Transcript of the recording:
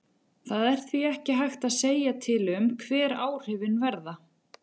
Það er því ekki hægt að segja til um hver áhrifin verða.